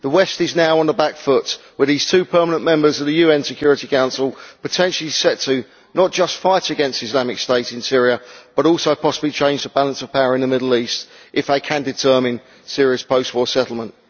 The West is now on the back foot with these two permanent members of the UN Security Council potentially set not just to fight against Islamic State in Syria but also possibly to change the balance of power in the Middle East, if they can determine a serious post war settlement.